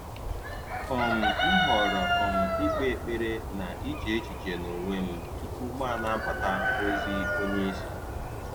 um M họrọ̀ um ị̀kpe ekpere na iche echiche n’onwe m tupu m anabata ozi onye isi.